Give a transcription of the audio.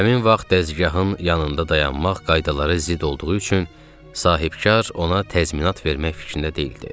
Həmin vaxt dəzgahın yanında dayanmaq qaydalara zidd olduğu üçün sahibkar ona təzminat vermək fikrində deyildi.